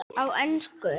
Á ensku